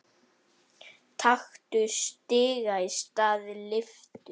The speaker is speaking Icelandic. Taktu stiga í stað lyftu.